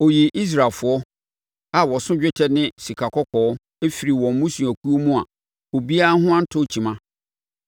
Ɔyii Israelfoɔ, a wɔso dwetɛ ne sikakɔkɔɔ, firii wɔn mmusuakuo mu a obiara ho antɔ kyima.